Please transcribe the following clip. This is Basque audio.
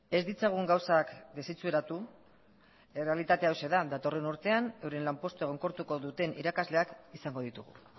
ez ditzagun gauzak desitxuratu errealitatea hauxe da datorren urtean euren lanpostua egonkortuko duten irakasleak izango ditugu